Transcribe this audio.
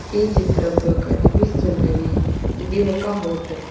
ఈ చిత్రంలో కనిపిస్తున్నవి ఇది ఒక హోటల్ .